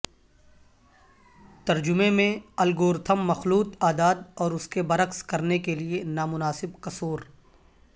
ترجمہ میں الگورتھم مخلوط اعداد اور اس کے برعکس کرنے کے لئے نامناسب کسور